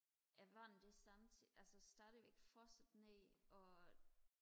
at vandet det samtidig altså stadigvæk fossede ned og